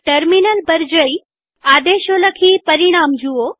terminal બારી પર જઈઆદેશો લખીપરિણામો જુઓ